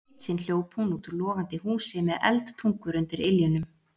Eitt sinn hljóp hún út úr logandi húsi með eldtungur undir iljunum.